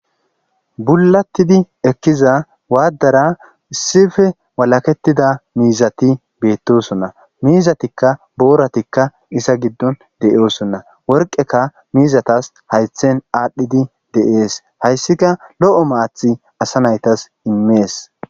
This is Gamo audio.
Bullatidi ekkiza waddara issippe walaketida miizati beetosona; miizatika booratika iza giddon de'osonna; worqeka miizatas haaythen aadhidi de'es; hayssika lo'o maaththi asa naytas immes.